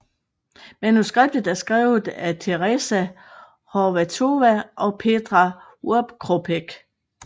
Manuskriptet er skrevet af Tereza Horváthová og Petr Oukropec